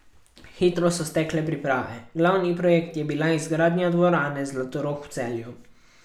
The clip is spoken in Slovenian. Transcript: Hitro so stekle priprave, glavni projekt je bila izgradnja dvorane Zlatorog v Celju.